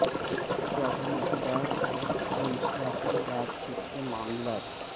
زیادہ مقدار اور منشیات کی بات چیت کے معاملات